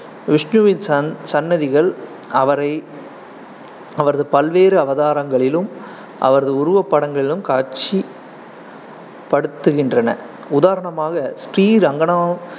விஷ்ணுவின் சன்~ சன்னதிகள் அவரை அவரது பல்வேறு அவதாரங்களிலும் அவரது உருவப்படங்களிலும் காட்சி படுத்துகின்றன. உதாரணமாக, ஸ்ரீ ரங்க